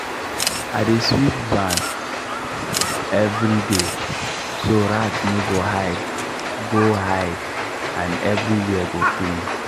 i dey sweep barn every day so rat no go hide go hide and everywhere go clean.